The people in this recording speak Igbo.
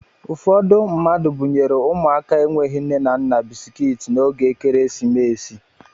Ụfọdụ mmadụ bunyere ụmụaka enweghị nne na nna bisikiiti n'oge ekeresimesi